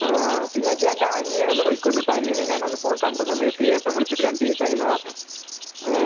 ആഹ്. പിന്നെ നീ നിന്റെ അനിയനെ ഒന്ന് വിളിക്കണമേട്ടോ. അനിയനെ ഞാൻ അന്ന് കണ്ട സമയത്തെ ചേട്ടൻ വിളിച്ചിട്ട് രണ്ട് ദിവസമായി എന്നാണ് പറഞ്ഞത്. ഏഹ്?